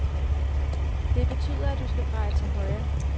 Det betyder, at du skal dreje til højre.